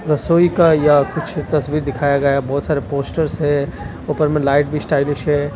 रसोई का या कुछ तस्वीर दिखाया गया बहुत सारे पोस्टर्स है ऊपर में लाइट भी स्टाइलिश है।